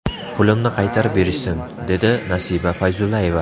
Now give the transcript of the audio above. Pulimni qaytarib berishsin, - dedi Nasiba Fayzullayeva.